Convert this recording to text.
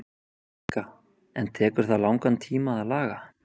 Helga: En tekur það langan tíma að laga?